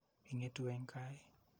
Ing'etu eng' kaa ii?